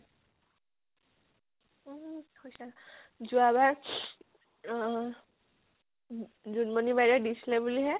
উ হৈছে। যোৱাবাৰ অহ উম জুনমনি বাইদেউৱে দিছিলে বুলি হে।